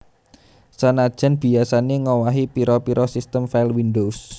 Senajan biyasané ngowahi pira pira sistem file windows